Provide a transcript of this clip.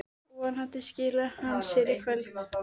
Vonandi skili hann sér í kvöld.